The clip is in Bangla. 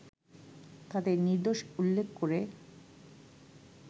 তাদের নির্দোষ উল্লেখ করে